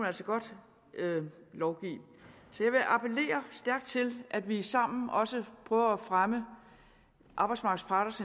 altså godt lovgive så jeg vil appellere stærkt til at vi sammen også prøver at fremme arbejdsmarkedets